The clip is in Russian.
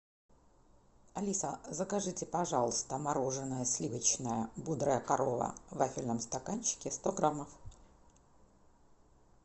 алиса закажите пожалуйста мороженое сливочное бодрая корова в вафельном стаканчике сто граммов